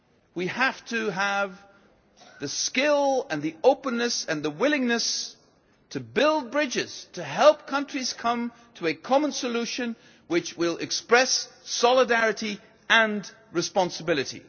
We have to have the skill, the openness and the willingness to build bridges to help countries come to a common solution which will express solidarity and responsibility.